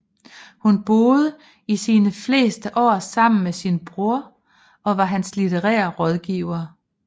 Hun boede i sine fleste år sammen med sin bror og var hans litterære rådgiver